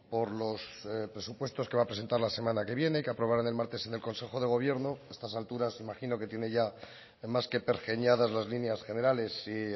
por los presupuestos que va a presentar la semana que viene que aprobará el martes en el consejo de gobierno a estas alturas imagino que tiene ya más que pergeñadas las líneas generales y